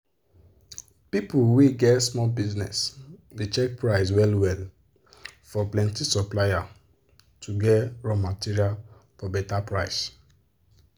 people wey get small business dey check price well well for plenti supplier to get raw material for better price.